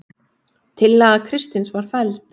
Tillaga Kristins var felld